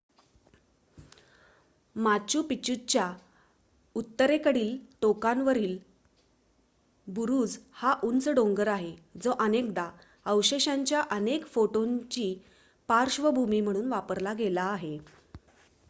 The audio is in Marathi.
माचू पिच्चूच्या उत्तरेकडील टोकावरील बुरुज हा उंच डोंगर आहे जो अनेकदा अवशेषांच्या अनेक फोटोंची पार्श्वभूमी म्हणून वापरला गेला आहे